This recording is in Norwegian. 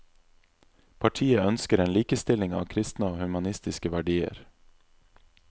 Partiet ønsker en likestilling av kristne og humanistiske verdier.